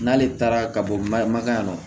N'ale taara ka bɔ magɛn kɔnɔ